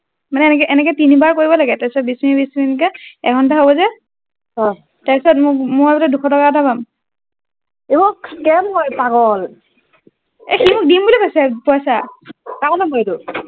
মানে এনেকে এনেকে তিনিবাৰ কৰিব লাগে তাৰপিছত বিছ মিনিট বিছ মিনিট কে এক ঘণ্টা হব গে অ তাৰ পিছত মই বোলে দুইছ টকা এটা পাম অহ scam হয় পাগল এই সি দিম বুলি কৈছে পইছা